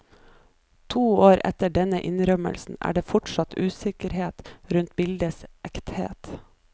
To år etter denne innrømmelsen er det fortsatt usikkerhet rundt bildets ekthet.